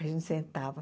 A gente sentava.